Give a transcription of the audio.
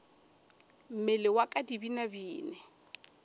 mmele wa ka di binabine